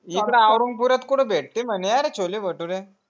इकडे औरंगपुरायत कुठे भेटते म्हणे अरे छोले भटुरे